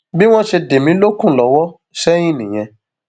bí wọn ṣe dé mi lókun lọwọ sẹyìn nìyẹn